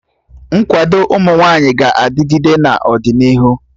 Nkwado ụmụ nwaanyị ga-adịgịde n'ọdịnihu